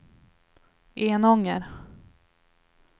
Enånger